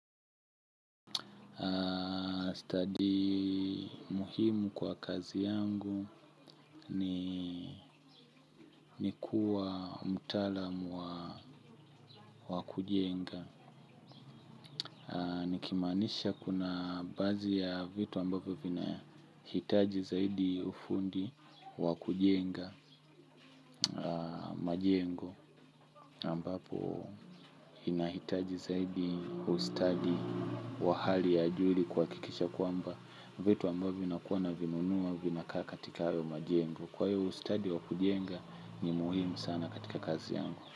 Study muhimu kwa kazi yangu ni kuwa mtaalamu wa kujenga. Nikimaanisha kuna baadhi ya vitu ambavyo vinahitaji zaidi ufundi wa kujenga majengo ambapo inahitaji zaidi ustadi wa hali ya juu ili kwkikisha kwamba vitu ambovyo vinakuwa na vinunua vinakaa katika hayo majengo. Kwa yu study wa kujenga ni muhimu sana katika kazi yangu.